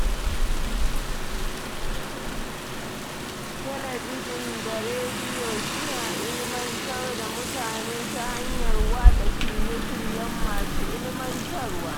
Talabijin da rediyo suna ilmantar da mutane ta hanyar watsa shirye-shiryen masu ilmantarwa.